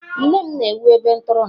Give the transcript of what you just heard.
Nne m na-ewu ebe ntụrụndụ.